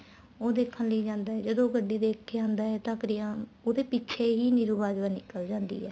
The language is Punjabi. ਉਹ ਦੇਖਣ ਲਈ ਜਾਂਦਾ ਏ ਜਦੋਂ ਗੱਡੀ ਦੇਖਕੇ ਆਂਦਾ ਏ ਤਾਂ ਉਹਦੇ ਪਿੱਛੇ ਹੀ ਨੀਰੂ ਬਾਜਵਾ ਨਿੱਕਲ ਜਾਂਦੀ ਏ